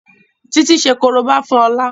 Titi ṣe koriba fún Ola.